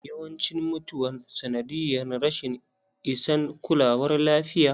Yawancin mutuwan sanadiyyar rashin isan kulawar lafiya.